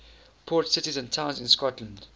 port cities and towns in scotland